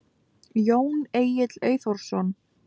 Jón Egill Eyþórsson.